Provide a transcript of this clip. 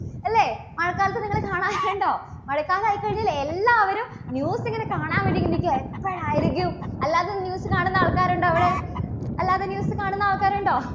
മഴക്കാലം ആയിക്കഴിഞ്ഞാൽ എല്ലാവരും news ഇങ്ങനെ കാണാൻ വേണ്ടിയിട്ട് നിൽക്കുവാ. എപ്പോഴായിരിക്കും? അല്ലാതെ news കാണുന്ന ആൾക്കാരുണ്ടോ ഇവിടെ? അല്ലാതെ news കാണുന്ന ആൾക്കാരുണ്ടോ?